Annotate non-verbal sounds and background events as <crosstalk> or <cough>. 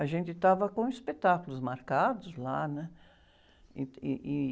A gente estava com espetáculos marcados lá, né? <unintelligible> ih, e...